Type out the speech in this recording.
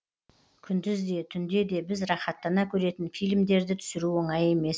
күндіз де түнде де біз рахаттана көретін фильмдерді түсіру оңай емес